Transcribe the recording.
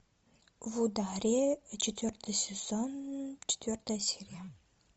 в ударе четвертый сезон четвертая серия